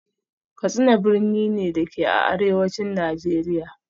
Katsina birni ne, da ke a Arewacin Najeriya